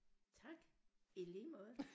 Tak i lige måde